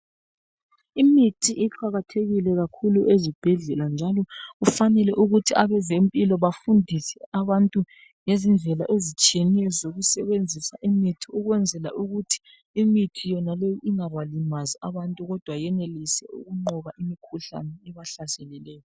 Imithi iqakathekile kakhulu ezibhedlela njalo kufanele ukuthi abezempilo bafundise abantu ngezindlela ezitshiyeneyo zokusebenzisa mithi ukwenzela ukuthi imithi yonaleyo ingabalimazi abantu kodwa yenelise ukunqoba imikhihlane ebahlaselileyo.